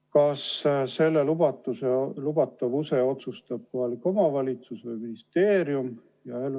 Kas selle lubatavuse otsustab kohalik omavalitsus või ministeerium?